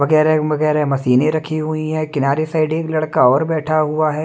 वगैरे मगैरे मशीने रखी हुईं है किनारे साइड एक लड़का और बैठा हुआ है।